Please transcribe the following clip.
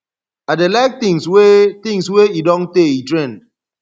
i dey like things wey things wey e don tey e trend